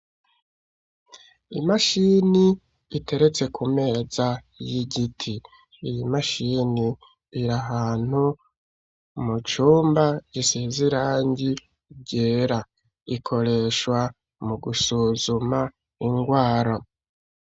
Imashani iteretse ku meza y'igiti iyo mashini irahantu mu cumba gisize irangi ryera ikoreshwa mu gusuzuma ingwara.